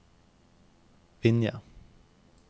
Vinje